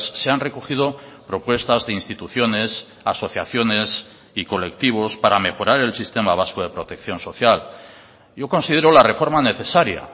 se han recogido propuestas de instituciones asociaciones y colectivos para mejorar el sistema vasco de protección social yo considero la reforma necesaria